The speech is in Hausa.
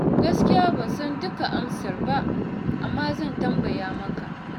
Gaskiya ban san dukkan amsar ba, amma zan tambaya maka.